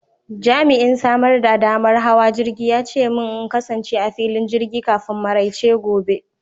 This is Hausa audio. Jami'in samar da damar hawa jirgi ya ce min in kasance a filin jirgi kafin maraice gobe.